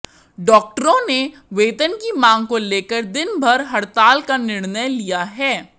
डॉक्टरों ने वेतन की मांग को लेकर दिनभर हड़ताल का निर्णय लिया है